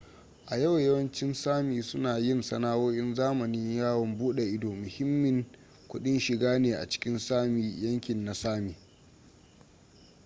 a yau yawancin sámi suna yin sana'o'in zamani. yawon buda ido muhimmin kudin shiga ne a cikin sámi yankin na sámi